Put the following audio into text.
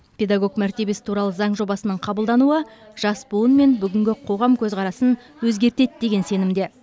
педагог мәртебесі туралы заң жобасының қабылдануы жас буын мен бүгінгі қоғам көзқарасын өзгертеді деген сенімде